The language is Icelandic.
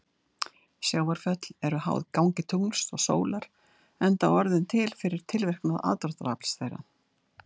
Sjávarföll eru háð gangi tungls og sólar enda orðin til fyrir tilverknað aðdráttarafls þeirra.